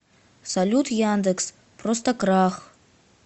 салют яндекс просто крах